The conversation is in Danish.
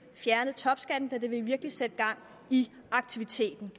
fjernet topskatten da det virkelig ville sætte gang i aktiviteten